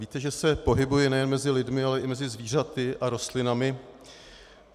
Víte, že se pohybuji nejen mezi lidmi, ale i mezi zvířaty a rostlinami.